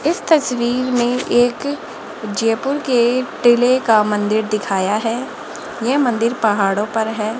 इस तस्वीर में एक जयपुर के टीले का मंदिर दिखाया है ये मंदिर पहाड़ों पर है।